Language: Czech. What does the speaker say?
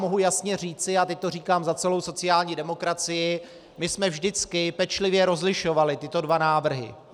Mohu jasně říci, a teď to říkám za celou sociální demokracii, my jsme vždycky pečlivě rozlišovali tyto dva návrhy.